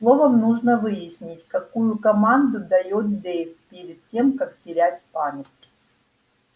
словом нужно выяснить какую команду даёт дейв перед тем как терять память